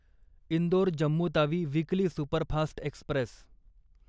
Indore Jammu Tawi weekly superfast Express